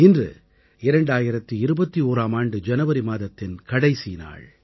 இன்று 2021ஆம் ஆண்டு ஜனவரி மாதத்தின் கடைசி நாள்